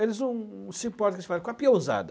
Eles não não se importam com com a piezada